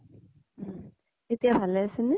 উম । এতিয়া ভালে আছে নে?